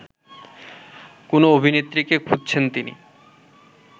কোনো অভিনেত্রীকে খুঁজছেন তিনি